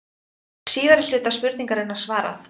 Hér er síðari hluta spurningarinnar svarað.